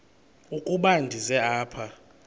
ukuba ndize apha